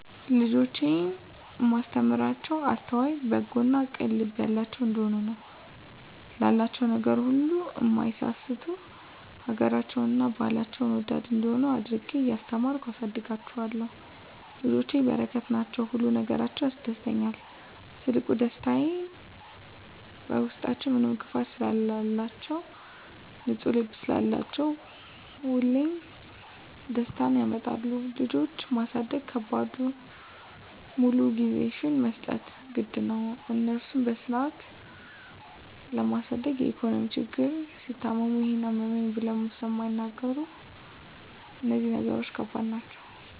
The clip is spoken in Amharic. ልጆቼን እማስተምራቸዉ አስተዋይ፣ በጎ እና ቅን ልብ ያላቸዉ እንዲሆኑ፣ ላላቸዉ ነገር ሁሉ እማይሳስቱ፣ ሀገራቸዉን እና ባህላቸዉን ወዳድ እንዲሆነ አድርጌ እያስተማርኩ አሳድጋቸዋለሁ። ልጆች በረከት ናቸዉ። ሁሉ ነገራቸዉ ያስደስታል ትልቁ ደስታየ በዉስጣችዉ ምንም ክፋት ስለላቸዉ፣ ንፁ ልብ ስላላቸዉ ሁሌም ደስታን ያመጣሉ። ልጆች ማሳደግ ከባዱ ሙሉ ጊዜሽን መስጠት ግድ ነዉ፣ እነሱን በስነስርአት ለማሳደግ የኢኮኖሚ ችግር፣ ሲታመሙ ይሄን አመመኝ ብለዉ ስለማይናገሩ እነዚህ ነገሮች ከባድ ናቸዉ።